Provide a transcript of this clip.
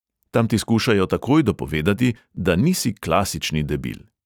Tam ti skušajo takoj dopovedati, da nisi klasični debil.